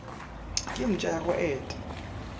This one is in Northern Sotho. ke mpša ya go eta